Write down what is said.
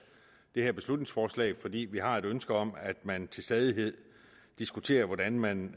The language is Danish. det her beslutningsforslag fordi vi har et ønske om at man til stadighed diskuterer hvordan man